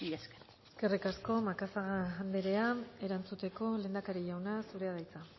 esker eskerrik asko macazaga anderea erantzuteko lehendakari jauna zurea da hitza